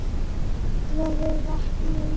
Hvað ætlarðu að gera við vatnið Ísbjörg, segir hann.